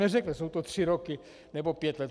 Neřekne, jsou to tři roky nebo pět let.